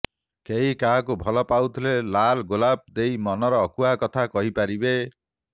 କେହି କାହାକୁ ଭଲ ପାଉଥିଲେ ଲାଲ ଗୋଲାପ ଦେଇ ମନର ଅକୁହା କଥା କହିପାରିବେ